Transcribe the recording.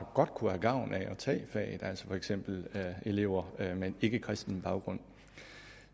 godt kunne have gavn af at tage faget altså for eksempel elever med en ikkekristen baggrund